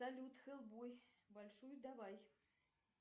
салют хеллбой большую давай